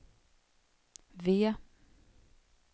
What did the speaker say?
V